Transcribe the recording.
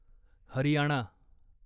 Haryana